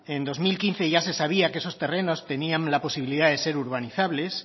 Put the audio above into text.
en dos mil quince ya se sabía que esos terrenos tenían la posibilidad de ser urbanizables